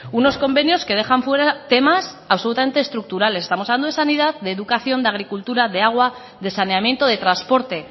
unos convenios que dejan fuera temas absolutamente estructurales estamos hablando de sanidad de educación de agricultura de agua de saneamiento de transporte